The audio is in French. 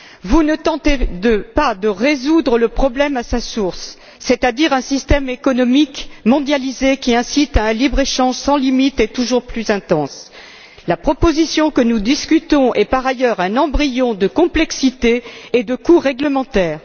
Vous ne tentez pas de résoudre le problème à sa source, c'est à dire un système économique mondialisé qui incite à un libre échange sans limite et toujours plus intense. La proposition que nous discutons est, par ailleurs, un ramassis de complexité et de coûts réglementaires.